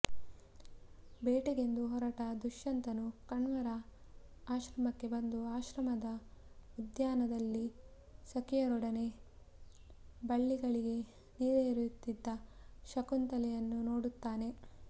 ಬೇಟೆಗೆಂದು ಹೊರಟ ದುಷ್ಯಂತನು ಕಣ್ವರ ಆಶ್ರಮಕ್ಕೆ ಬಂದು ಆಶ್ರಮದ ಉದ್ಯಾನದಲ್ಲಿ ಸಖಿಯರೊಡನೆ ಬಳ್ಳಿಗಳಿಗೆ ನೀರೆರೆಯುತ್ತಿದ್ದ ಶಕುಂತಲೆಯನ್ನು ನೋಡುತ್ತಾನೆ